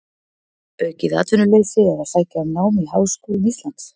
Aukið atvinnuleysi eða sækja um nám í háskólum Íslands?